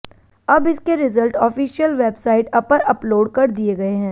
अब इसके result official website अपर अपलोड कर दिए गए हैं